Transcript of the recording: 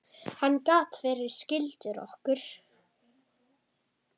Hann gat verið skyldur okkur.